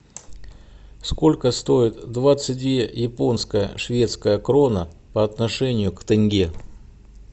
сколько стоит двадцать две японская шведская крона по отношению к тенге